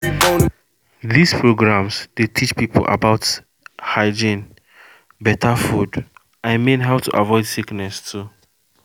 these programs dey teach people about hygiene better food — i mean how to avoid sickness too too